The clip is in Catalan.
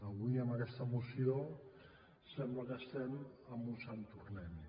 avui amb aquesta moció sembla que estiguem en un sant tornem hi